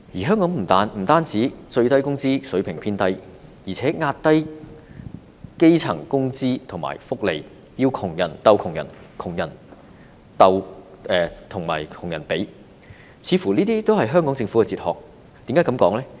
香港不單最低工資水平偏低，而且壓低基層的工資和福利，要窮人鬥窮人、窮人和窮人比，似乎也是香港政府的哲學。